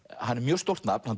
hann er mjög stórt nafn hann